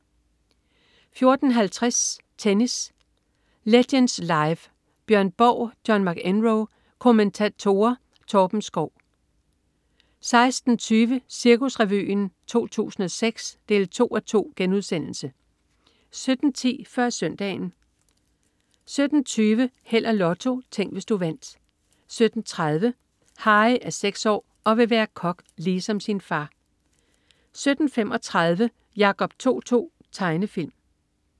14.50 Tennis: Legends Live, Bjørn Borg-John McEnroe. Kommentatorer: Torben Schou 16.20 Cirkusrevyen 2006 2:2* 17.10 Før Søndagen 17.20 Held og Lotto. Tænk, hvis du vandt 17.30 Harry. Harry er seks år og vil være kok ligesom sin far 17.35 Jacob To-To. Tegnefilm